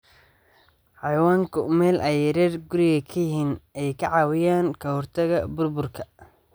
Xayawaanka meel ay reer guuraaga yihiin ayaa ka caawiya ka hortagga burburka.